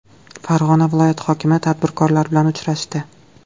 Farg‘ona viloyati hokimi tadbirkorlar bilan uchrashdi.